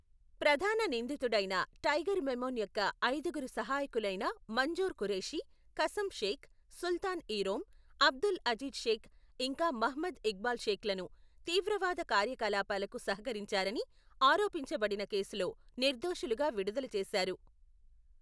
ప్రధాన నిందితుడైన టైగర్ మెమన్ యొక్క ఐదుగురు సహాయకులైన మంజూర్ ఖురేషీ, కసమ్ షేక్, సుల్తాన్ ఈ రోమ్, అబ్దుల్ అజీజ్ షేక్ ఇంకా మహ్మద్ ఇక్బాల్ షేక్లను తీవ్రవాద కార్యకలాపాలకు సహకరించారని ఆరోపించబడిన కేసులో, నిర్దోషులుగా విడుదల చేశారు.